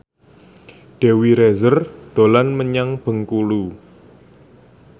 Dewi Rezer dolan menyang Bengkulu